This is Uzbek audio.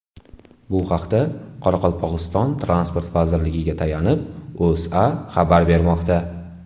Bu haqda, Qoraqalpog‘iston Transport vazirligiga tayanib, O‘zA xabar bermoqda .